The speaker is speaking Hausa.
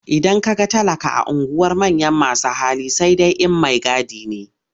Idan ka ga talaka a unguwar manyan masu hali sai dai in maigadi ne.